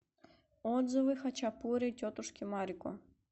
отзывы хачапури тетушки марико